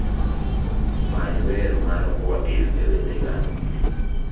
many wer mar what if e wende ga